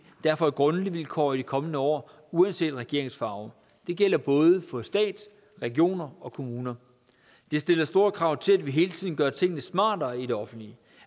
derfor et grundvilkår i de kommende år uanset regeringens farve det gælder både for stat regioner og kommuner det stiller store krav til at vi hele tiden gør tingene smartere i det offentlige